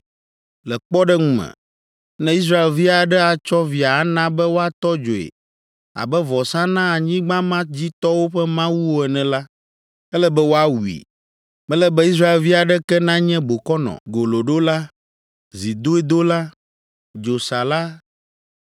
Le kpɔɖeŋu me, ne Israelvi aɖe atsɔ via ana be woatɔ dzoe abe vɔsa na anyigba ma dzi tɔwo ƒe mawuwo ene la, ele be woawui. Mele be Israelvi aɖeke nanye bokɔnɔ, goloɖola, zidoedola, dzosala,